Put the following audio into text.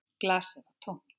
Glasið var tómt.